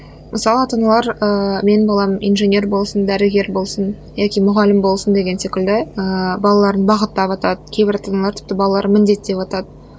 мысалы ата аналар ыыы менің балам инженер болсын дәрігер болсын яки мұғалім болсын деген секілді ыыы балаларын бағыттаватады кейбір ата аналар тіпті балаларын міндеттеватады